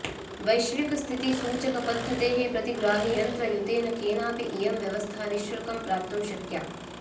वैश्विकस्थितिसूचकपद्धतेः प्रतिग्राहियन्त्रयुतेन केनापि इयं व्यवस्था निश्शुल्कं प्राप्तुं शक्या